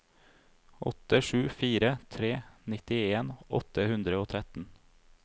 åtte sju fire tre nittien åtte hundre og tretten